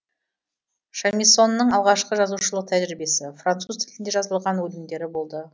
шамиссоның алғашқы жазушылық тәжірибесі француз тілінде жазылған өлеңдері болды